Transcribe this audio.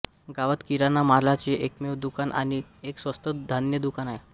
गावात किराणा मालाचे एकमेव दुकान आणि एक स्वस्त धान्य दुकान आहे